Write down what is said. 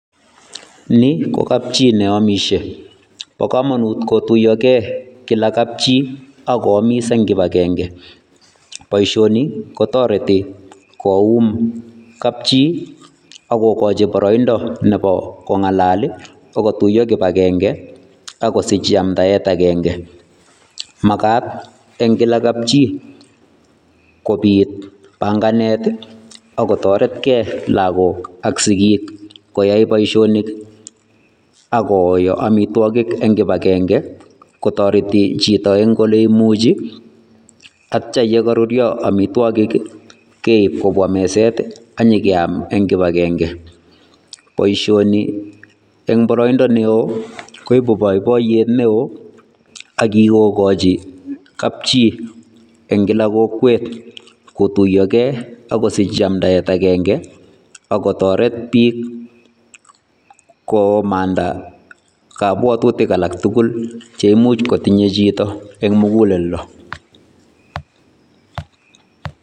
Ni ko kapchi ne omishen. Bo kamanut kotuiyoge kila kapchii ako amis eng kibagenge, boisioni ko toreti koum kapchii akokochi boroindo nebo kong'alal, akotuyo kibagenge akosich yamtaet agenge. Makat eng kila kapchii kobit panganet ako toret gee lakok ak sikik koyai bosionik akoyo amitwokik eng kibagenge kotoreti chito eng ole imuji. Atya ye karurio amitwogik keib kobwa meset anye akeam eng kibagenge. Boisioni eng boroindo neoo koibu boiboiyet neoo akikochi kapchii eng kila kokwet kotuyogee akusich yamdaet agenge akotoret biik komanda kabwatutik alak tugul che imuch kotinye chito eng muguleldo.